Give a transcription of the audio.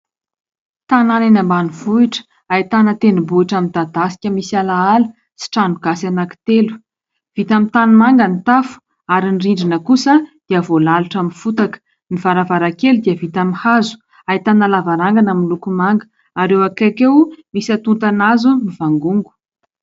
Tanana eny ambanivohitra, hahitana tendrobohitra midadasika misy alaala, sy tranogasy anankitelo. Vita amin'ny tanimanga ny tafo, ary ny rindrina kosa, dia voalalotra misy fotaka, ny varavarakely dia vita amin'ny hazo, hahitana lavarangana miloko manga, ary eo ankaiky eo, misy hatontana hazo mivangongo.